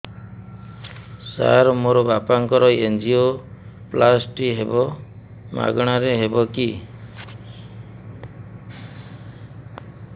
ସାର ମୋର ବାପାଙ୍କର ଏନଜିଓପ୍ଳାସଟି ହେବ ମାଗଣା ରେ ହେବ କି